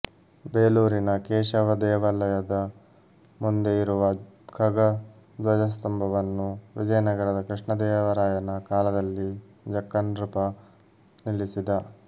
ಬೇಲೂರಿನ ಕೇಶವ ದೇವಾಲಯದ ಮುಂದೆ ಇರುವ ಖಗ ಧ್ವಜಸ್ತಂಭವನ್ನು ವಿಜಯನಗರದ ಕೃಷ್ಣದೇವರಾಯನ ಕಾಲದಲ್ಲಿ ಜಕ್ಕನೃಪ ನಿಲ್ಲಿಸಿದ